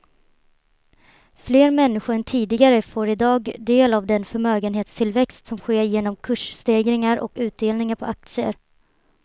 Fler människor än tidigare får i dag del av den förmögenhetstillväxt som sker genom kursstegringar och utdelningar på aktier.